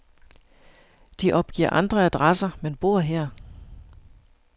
De opgiver andre adresser, men bor her.